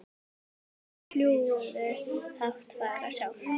Fljúgðu hátt fagra sál.